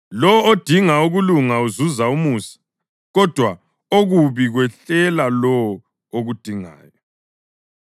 Lowo odinga ukulunga uzuza umusa, kodwa okubi kwehlela lowo okudingayo.